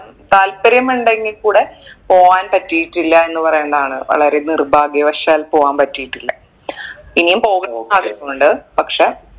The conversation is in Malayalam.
താല്പര്യം ഇണ്ടെങ്കിൽ കൂടെ പോവാൻ പറ്റിയിട്ടില്ല എന്ന് പറയേണ്ടതാണ് വളരെ നിർഭാഗ്യവശാൽ പോവാൻ പറ്റിയിട്ടില്ല ഇനിയും പോകു ആഗ്രഹുണ്ട് പക്ഷെ